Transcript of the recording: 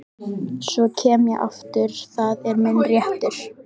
Svo kem ég aftur, það er minn réttur.